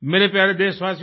मेरे प्यारे देशवासियों